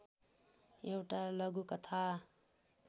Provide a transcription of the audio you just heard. एउटा लघुकथा